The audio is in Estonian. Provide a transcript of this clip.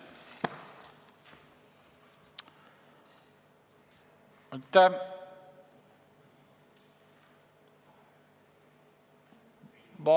Aitäh!